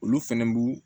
Olu fɛnɛ b'u